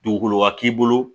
Dugukolo ka k'i bolo